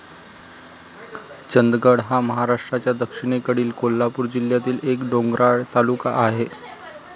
चंदगड हा महाराष्ट्राच्या दक्षिणेकडील कोल्हापूर जिल्ह्यातील एक डोंगराळ तालुका आहे.